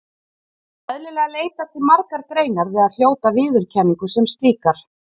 Eðlilega leitast því margar greinar við að hljóta viðurkenningu sem slíkar.